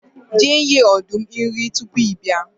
je nye ọdum nri tupu i bia